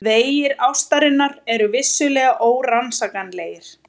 Vegir ástarinnar eru vissulega órannsakanlegir.